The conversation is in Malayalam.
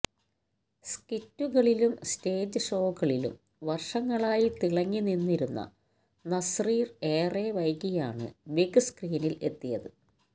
സ്കിറ്റുകളിലും സ്റ്റേജ് ഷോകളിലും വർഷങ്ങളായി തിളങ്ങി നിന്നിരുന്ന നസ്രീർ ഏറെ വൈകിയാണ് ബിഗ്സ്ക്രീനിൽ എത്തിയത്